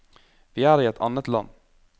Vi er i et annet land.